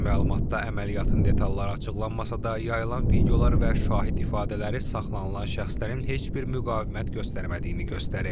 Rəsmi məlumatda əməliyyatın detalları açıqlanmasa da, yayılan videolar və şahid ifadələri saxlanılan şəxslərin heç bir müqavimət göstərmədiyini göstərir.